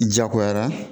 Jagoyara